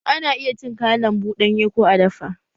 Ana iya cin kayan lambu ɗanye ko a dafa